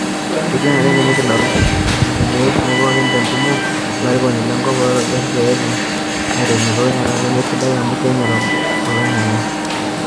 Kesidai naleng tenikidol ilangeni etumo pookin te ntumo olarikoni le nkop o loibor ejo peitauni enturunoto eilata nemesidai amu keinyal oloingange.